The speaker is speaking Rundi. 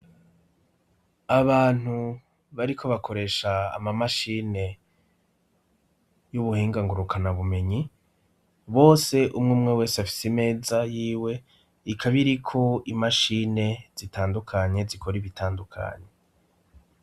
Abantu bariko bakoresha amamashine y'ubuhingangurukana bumenyi bose umwe umwe wese afise imeza yiwe ikabiriko imashine zitandukanye zikora ibitandukanye.